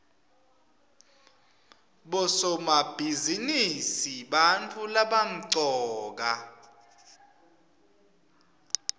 bosomabhizinisi bantfu labamcoka